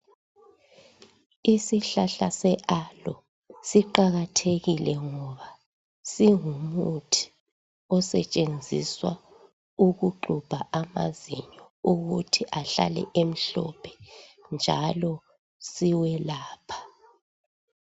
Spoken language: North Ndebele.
Isihlahla se alo siqakathekile ngoba singumuthi osetshenziswa ukuxubha amazinyo ukuthi ahlale emhlophe njalo siwelapha.